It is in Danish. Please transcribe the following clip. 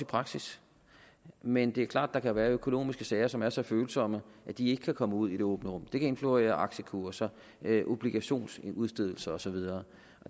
praksis men det er klart at der kan være økonomiske sager som er så følsomme at de ikke kan komme ud i det åbne rum det kan influere aktiekurser obligationsudstedelser og så videre